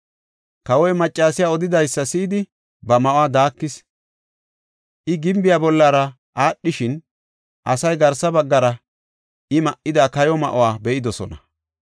Kawoy maccasiya odidaysa si7idi, ba ma7uwa daakis. I gimbiya bollara aadhishin, asay garsa baggara I ma7ida kayo ma7uwa be7idosona.